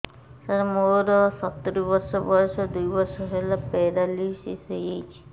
ସାର ମୋର ସତୂରୀ ବର୍ଷ ବୟସ ଦୁଇ ବର୍ଷ ହେଲା ପେରାଲିଶିଶ ହେଇଚି